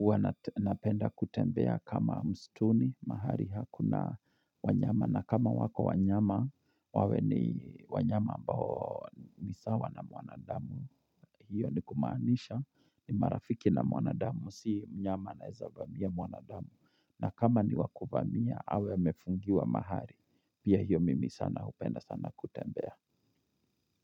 wana penda kutembea kama mstituni, mahali hakuna wanyama, na kama wako wanyama, wawe ni wanyama ambao ni sawa na mwanadamu, hiyo ni kumaanisha ni marafiki na mwanadamu, si mnyama anaweza vamia mwanadamu, na kama ni wa kuvamia, awe amefungiwa mahali, pia hiyo mimi sana upenda sana kutembea.